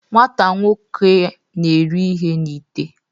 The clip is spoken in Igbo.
nwata nwoke na-eri ihe n'ite